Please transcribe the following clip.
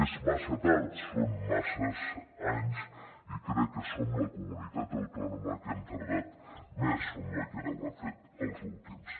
és massa tard són masses anys i crec que som la comunitat autònoma que hem tardat més som la que ho hem fet els últims